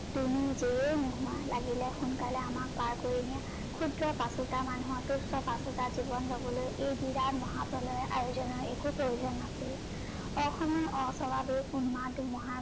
তুমি যিয়েই নোহোৱা লাগিলে সোনকালে আমাক পাৰ কৰি নিয়া ।খুদ্ৰ পাচোতা মানুহ তুস্য পাচোতা জীৱন যাবলৈ এই বিৰাট মহা প্ৰলয় আয়োজনৰ একো প্ৰয়োজন নাছিল। অসমৰ